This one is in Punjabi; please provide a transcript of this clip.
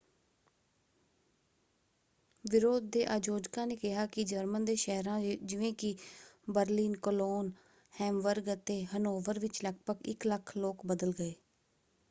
ਵਿਰੋਧ ਦੇ ਆਯੋਜਕਾਂ ਨੇ ਕਿਹਾ ਕਿ ਜਰਮਨ ਦੇ ਸ਼ਹਿਰਾਂ ਜਿਵੇਂ ਕਿ ਬਰਲਿਨ ਕੋਲੋਨ ਹੈਮਬਰਗ ਅਤੇ ਹਨੋਵਰ ਵਿੱਚ ਲਗਭਗ 100,000 ਲੋਕ ਬਦਲ ਗਏ।